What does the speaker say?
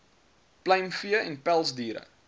pluimvee vee pelsdiere